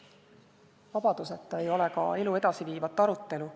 Vabaduseta ei ole ka elu edasiviivat arutelu.